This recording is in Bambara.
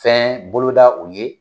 Fɛn boloda u ye.